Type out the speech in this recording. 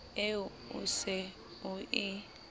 eo o se o e